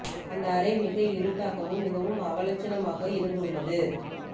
அந்த அறை மிக இருட்டாகவும் மிகவும் அவலட்சணமாக இருந்து உள்ளது